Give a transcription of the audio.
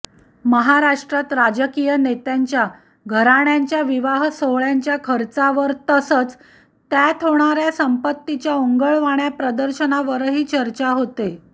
महाराष्ट्रात राजकीय नेत्यांच्या घराण्यांच्या विवाह सोहळ्यांच्या खर्चावर तसंच त्यात होणाऱ्या संपत्तीच्या ओंगळवाण्या प्रदर्शनावरही चर्चा होते